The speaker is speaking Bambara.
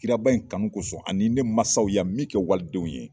Kiraba in kanu kosɔn ani ne mansaw yan min kɛ walidenw ye.